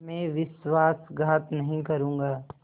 मैं विश्वासघात नहीं करूँगा